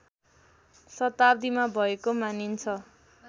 शताब्दिमा भएको मानिन्छ